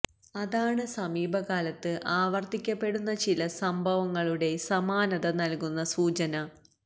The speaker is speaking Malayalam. അതാണ് സമീപകാലത്ത് ആവർത്തിക്കപ്പെടുന്ന ചില സംഭവങ്ങളുടെ സമാനത നൽകുന്ന സൂചന